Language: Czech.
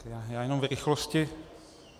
Já jenom v rychlosti.